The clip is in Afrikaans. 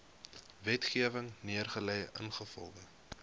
wetgewing neergelê ingevolge